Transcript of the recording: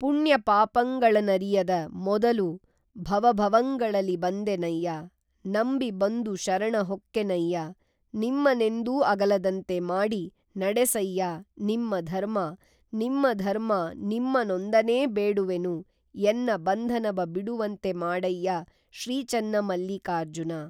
ಪುಣ್ಯಪಾಪಂಗಳನರಿಯದ ಮೊದಲು ಭವಭವಂಗಳಲಿ ಬಂದೆನಯ್ಯ ನಂಬಿ ಬಂದು ಶರಣುಹೊಕ್ಕೆನಯ್ಯ ನಿಮ್ಮನೆಂದೂ ಅಗಲದಂತೆ ಮಾಡಿ ನಡೆಸಯ್ಯ ನಿಮ್ಮ ಧರ್ಮ ನಿಮ್ಮ ಧರ್ಮ ನಿಮ್ಮನೊಂದನೇ ಬೇಡುವೆನು ಎನ್ನ ಬಂಧನವ ಬಿಡುವಂತೆ ಮಾಡಯ್ಯ ಶ್ರೀ ಚೆನ್ನಮಲ್ಲಿಕಾರ್ಜುನ